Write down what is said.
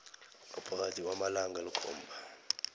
ngaphakathi kwamalanga alikhomba